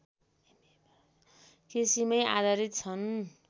कृषिमै आधारित छन्